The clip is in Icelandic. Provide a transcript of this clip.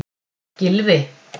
Gylfi